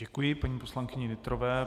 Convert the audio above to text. Děkuji paní poslankyni Nytrové.